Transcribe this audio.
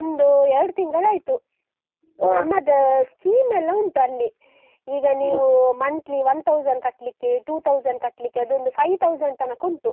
ಒಂದೂ ಎರಡ್ ತಿಂಗಳಾಯ್ತು. ನಮ್ಮದೂ scheme ಎಲ್ಲಾ ಉಂಟು ಅಲ್ಲಿ. ಈಗ ನೀವು monthly one thousand ಕಟ್ಲಿಕ್ಕೇ, two thousand ಕಟ್ಲಿಕ್ಕೇ, ಅದೊಂದು five thousand ತನಕ ಉಂಟು.